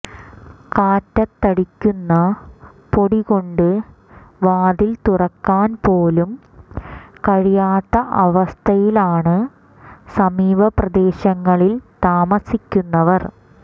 കാറ്റത്തടിക്കുന്ന പൊടികൊണ്ട് വാതിൽ തുറക്കാൻപോലും കഴിയാത്ത അവസ്ഥയിലാണ് സമീപ പ്രദേശങ്ങളിൽ താമസിക്കുന്നവർ